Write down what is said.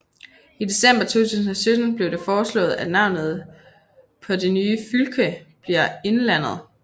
I december 2017 blev det foreslået at navnet på det nye fylke bliver Innlandet